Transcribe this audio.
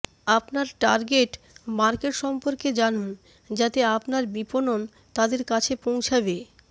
আপনার target market সম্পর্কে জানুন যাতে আপনার বিপণন তাদের কাছে পৌঁছাবে